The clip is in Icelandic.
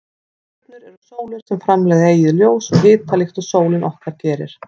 Stjörnur eru sólir sem framleiða eigið ljós og hita líkt og sólin okkar gerir.